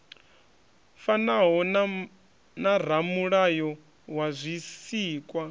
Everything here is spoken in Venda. fanaho na ramulayo wa zwisikwa